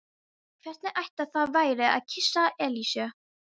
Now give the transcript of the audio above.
Hvernig ætli það væri að kyssa Elísu?